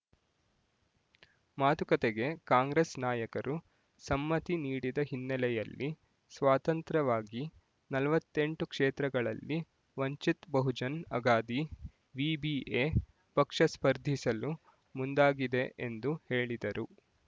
ಮಾತುಕತೆಗೆ ಕಾಂಗ್ರೆಸ್ ನಾಯಕರು ಸಮ್ಮತಿ ನೀಡದ ಹಿನ್ನೆಲೆಯಲ್ಲಿ ಸ್ವತಂತ್ರವಾಗಿ ನಲವತ್ತೆಂಟು ಕ್ಷೇತ್ರಗಳಲ್ಲಿ ವಂಚಿತ್ ಬಹುಜನ್ ಅಗಾದಿ ವಿಬಿಎ ಪಕ್ಷ ಸ್ಪರ್ಧಿಸಲು ಮುಂದಾಗಿದೆ ಎಂದು ಹೇಳಿದರು